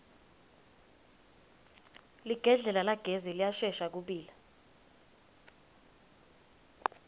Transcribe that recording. ligedlela lagesi liyashesha kubila